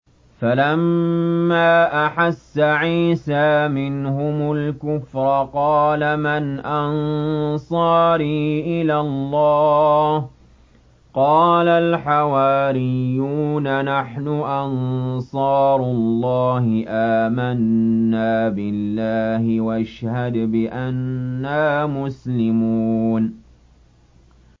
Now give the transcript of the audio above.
۞ فَلَمَّا أَحَسَّ عِيسَىٰ مِنْهُمُ الْكُفْرَ قَالَ مَنْ أَنصَارِي إِلَى اللَّهِ ۖ قَالَ الْحَوَارِيُّونَ نَحْنُ أَنصَارُ اللَّهِ آمَنَّا بِاللَّهِ وَاشْهَدْ بِأَنَّا مُسْلِمُونَ